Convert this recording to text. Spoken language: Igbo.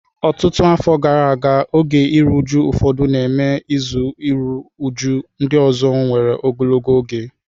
Ọtụtụ afọ gara aga, oge iru uju ụfọdụ na-eme izu iru újú; ndị ọzọ nwere ogologo oge.